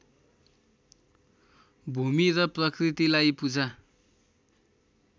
भूमि र प्रकृतिलाई पूजा